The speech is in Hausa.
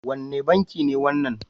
Wane banki ne wannan?